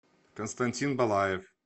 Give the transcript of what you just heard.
константин балаев